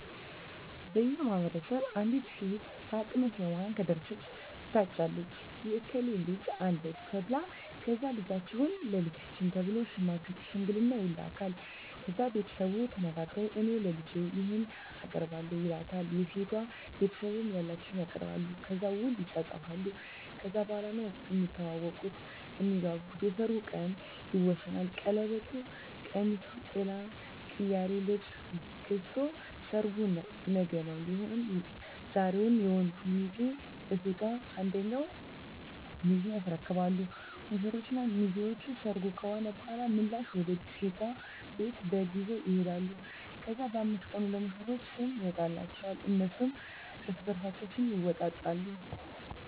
በእኛ ማህበረሰብ አንዲት ሴት ለአቅመ ሄዋን ከደረሰች ትታጫለች የእከሌ ልጅ አለች ተብላ ከዛ ልጃችሁን ለልጃችን ተብሎ ሽምግልና ይላካል። ከዛ ቤተሰቡ ተነጋግረዉ እኔ ለልጄ ይሄን አቀርባለሁ ይላል የሴቷ ቤተሰብም ያላቸዉን ያቀርባሉ። ከዛ ዉል ይፃፃፋሉ ከዛ በኋላ ነዉ እሚተዋወቁት (እሚግባቡት) የሰርጉ ቀን ይወሰናል ቀለበቱ፣ ቀሚሱ፣ ጥላ፣ ቅያሪ ልብስ ገዝቶ ሰርጉ ነገዉን ሊሆን ዛሬዉን የወንዱ ሚዜ ለሴቷ አንደኛ ሚዜ ያስረክባሉ። ሙሽሮች እና ሚዜዎች ሰርጉ ከሆነ በኋላ ምላሽ ወደ ሴቷ ቤት በግ ይዘዉ ይሄዳሉ። ከዛ በ5 ቀኑ ለሙሽሮች ስም ይወጣላቸዋል እነሱም እርስበርሳቸዉ ስም ይወጣጣሉ።